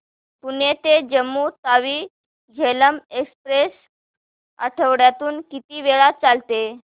पुणे ते जम्मू तावी झेलम एक्स्प्रेस आठवड्यातून किती वेळा चालते